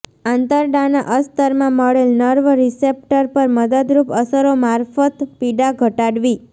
આંતરડાના અસ્તરમાં મળેલ nerve receptor પર મદદરૂપ અસરો મારફત પીડા ઘટાડવી